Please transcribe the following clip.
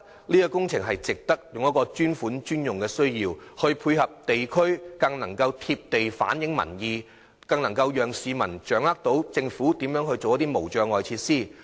如透過"專款專用"配合地區工程，將更能貼地反映民意，讓市民掌握政府興建無障礙設施的措施。